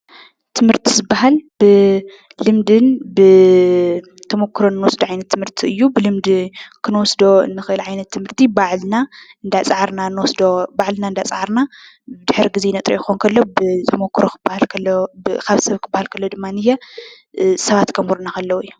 ትምህርቲ ዝበሃል ብልምድን ብተመኩሮን ንወስዶ ዓይነት ትምህርቲ እዩ፡፡ ብልምዲ ክንወስዶ ንኽእል ዓይነት ትምህርቲ ባዕልና እንዳፀዓርና ንወስዶ ባዕልና እንዳፀዓርና ድሕሪ ግዜ ነጥርዮ ክኾን ከሎ ብተመኩሮ ካብ ሰብ ክበሃል ተሎ ድማንየ ሰባት ከምህሩና ከለዉ እዩ፡፡